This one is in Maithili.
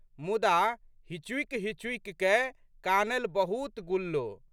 मुदा, हिचुकिहिचुकि कए कानलि बहुत गुल्ल।